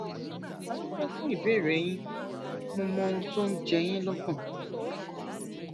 a dúpẹ fún ìbéèrè yín mo mọ ohun tó ń jẹ yín lọkàn